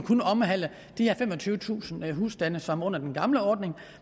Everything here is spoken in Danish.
omhandle de her femogtyvetusind husstande som under den gamle ordning